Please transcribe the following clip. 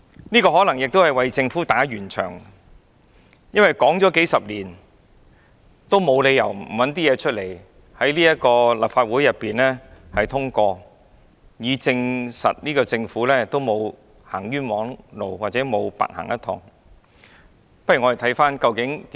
這可能亦是為政府打圓場，因為談了數十年，沒有理由不拿出一些東西在立法會通過，以證實政府沒有走冤枉路或沒有白走一趟。